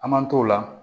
An man t'o la